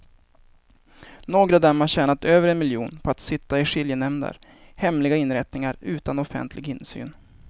Några av dem har tjänat över en miljon på att sitta i skiljenämnder, hemliga inrättningar utan offentlig insyn.